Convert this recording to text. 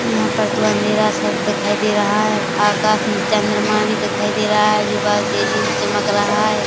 यहाँ पर तो अंधेरा -सा दिखाई दे रहा है आकाश में चंद्रमा भी दिखाई दे रहा है जो बहोत तेजी से चमक रहा है।